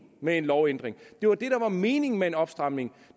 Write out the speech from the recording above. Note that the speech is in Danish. med lovændringen det var det der var meningen med en opstramning